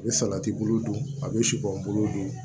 A bɛ salati bolo don a bɛ sibunlu don